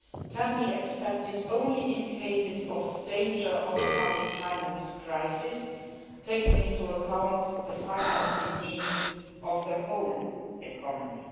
can be expected only in cases of danger of a public finance crisis, taking into account the financing needs of the whole economy.